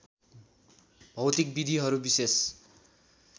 भौतिक विधिहरू विशेष